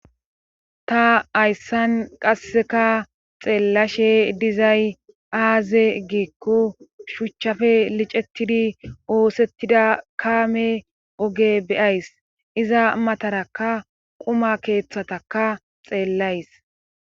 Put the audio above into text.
Ta hayssan qasseka xeellashe dizay aaze giekko shuchchafe licetidi oosettida kaame oge beyays iza mataraka quma keeththataka xeellays.